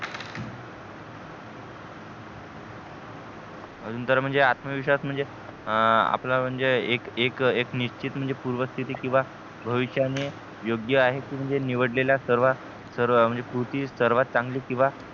अजून तर म्हणजे आत्मविश्वास म्हणजे आपला म्हणजे एक निच्छित म्हणजे पूर्व स्थिती किंवा भविष्य ने योग्य आहे कि नि निवडलेल्या सर्व पूर्ती सर्वात चांगली किंवा